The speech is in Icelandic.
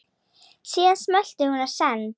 Síðan smellti hún á send.